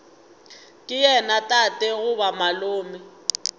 ke yena tate goba malome